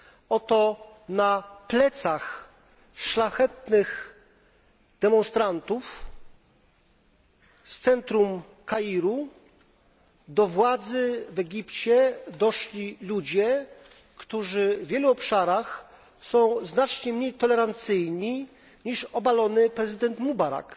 Oto na plecach szlachetnych demonstrantów z centrum Kairu do władzy w Egipcie doszli ludzie, którzy w wielu obszarach są znacznie mniej tolerancyjni, niż obalony prezydent Mubarak,